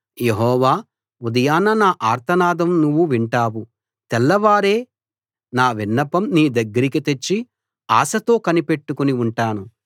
యెహోవా ఉదయాన నా ఆర్తనాదం నువ్వు వింటావు తెల్లవారే నా విన్నపం నీ దగ్గరికి తెచ్చి ఆశతో కనిపెట్టుకుని ఉంటాను